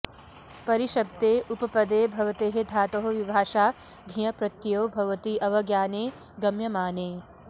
परिशब्दे उपपदे भवतेः धातोः विभाषा घञ् प्रत्ययो भवति अवज्ञाने गम्यमाने